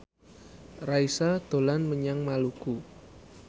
Raisa dolan menyang Maluku